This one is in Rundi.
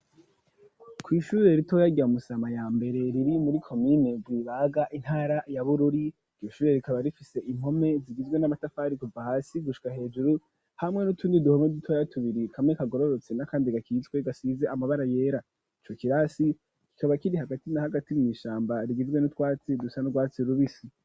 Kw'ishure ritoyaya rya Musama ya mbere riri muri komine Rwibaga intara ya Bururi iryo ishure rikaba rifise impome zigizwe n'amatafari kuva hasi gushika hejuru hamwe n'utundi duhome dutoya tubiri kamwe kagororotse n'akandi gakitswe gasize amabara yera ico kirasi kikaba kiri hagati na hagati mw'ishamba rigizwe n'utwatsi dusa nu rwatsi rubisi.